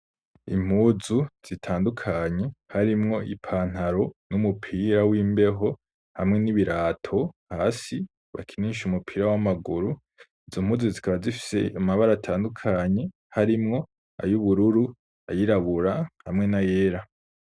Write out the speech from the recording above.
Impuzu zitandukanye, harimwo ipantaro, n'umupira w'imbeho, hamwe n'ibirato hasi, bakinisha umupira w'amaguru; izo mpuzu, zikaba zifise amabara atandukanye, harimwo ay'ubururu, ayirabura, hamwe n'ayera.